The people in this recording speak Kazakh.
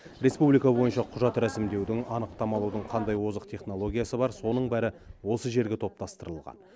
республика бойынша құжат рәсімдеудің анықтама алудың қандай озық технологиясы бар соның бәрі осы жерге топтастырылған